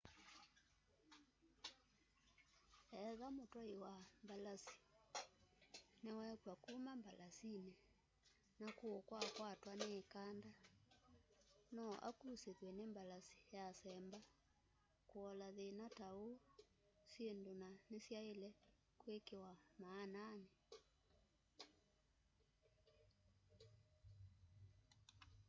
etha mũtwaĩ wa mbalasĩ nĩ wekywa kũma mbalasĩnĩ na kũũ kwakwatwa nĩ ĩkanda no akũsĩthwe nĩ mbalasĩ yasemba.kũola thĩna ta ũũ syĩndũ na nĩsyaĩle kwĩkĩwa maananĩ